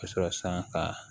Ka sɔrɔ san ka